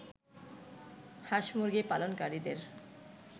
হাঁস-মুরগি পালনকারীদের